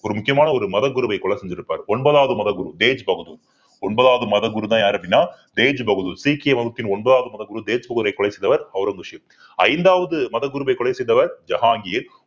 ஒரு முக்கியமான ஒரு மத குருவை கொலை செஞ்சிருப்பார் ஒன்பதாவது மத குரு தேஜ் பகதூர் ஒன்பதாவது மதகுருதான் யாரு அப்படின்னா தேஜ் பகதூர் சீக்கிய மதத்தின் ஒன்பதாவது மதகுரு தேஜ் பகதூரை கொலை செய்தவர் ஔரங்கசீப் ஐந்தாவது மதகுருவை கொலை செய்தவர் ஜஹாங்கீர்